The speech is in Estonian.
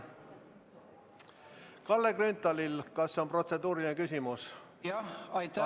Kalle Grünthal, kas on protseduuriline küsimus?